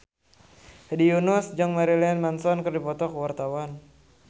Hedi Yunus jeung Marilyn Manson keur dipoto ku wartawan